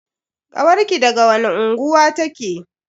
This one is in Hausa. Kawarki daga wani unguwa take?